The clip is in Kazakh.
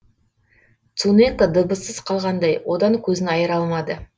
цунэко дыбыссыз қалғандай одан көзін айыра алмады